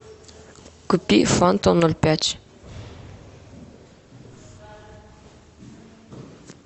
купи фанту ноль пять